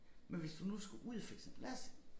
Men hvis du nu skulle ud for eksempel lad os